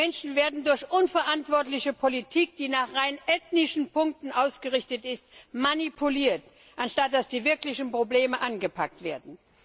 Die Menschen werden durch unverantwortliche Politik, die nach rein ethnischen Kriterien ausgerichtet ist, manipuliert, anstatt dass die wirklichen Probleme angepackt werden.